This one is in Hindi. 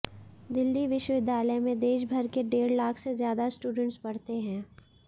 दिल्ली विश्वविद्यालय में देशभर के डेढ़ लाख से ज्यादा स्टूडेंट्स पढ़ते हैं